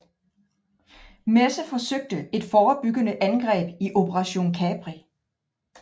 Messe forsøgte et forebyggende angreb i Operation Capri